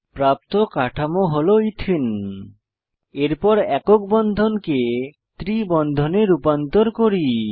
প্রাপ্ত কাঠামোটি হল ইথিন এরপর একক বন্ধনকে ত্রি বন্ধনে রূপান্তর করি